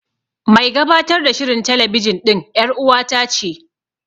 Mai gabatar da shirin telebijin ɗin ƴar'uwata ce.